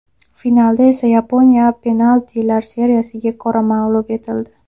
Finalda esa Yaponiya penaltilar seriyasiga ko‘ra mag‘lub etildi.